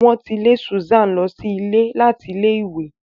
Wọn ti lè Susan lọ sí ilé láti ilẹ ìwé.